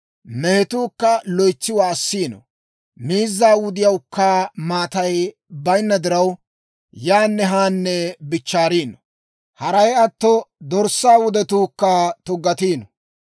Mehetuu loytsi waassiino; miizzaa wudiyawukka maatay bayinna diraw, yaanne haanne bichchaariino. Haray atto, dorssaa wudetuukka tuggatiino.